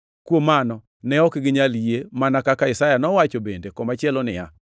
Kuom mano, ne ok ginyal yie, mana kaka Isaya nowacho bende komachielo niya,